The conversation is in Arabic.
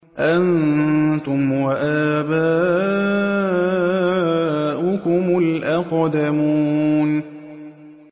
أَنتُمْ وَآبَاؤُكُمُ الْأَقْدَمُونَ